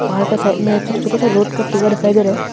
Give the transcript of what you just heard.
पहाड़ का साइड में छोटे छोटे से रोड का टुकड़ा दिखाई दे रहे हैं।